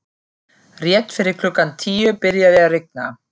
Rétt fyrir klukkan tíu byrjaði að rigna.